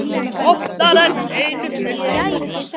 Og oftar en einu sinni.